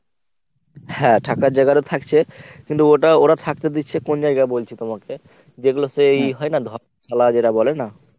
হ্যাঁ। থাকার জায়গারও থাকছে কিন্তু ওটা ওরা থাকতে দিচ্ছে কোন জায়গা বলছি তোমাকে যেগুলো সে এই হয় না শালা যেটা বলে না?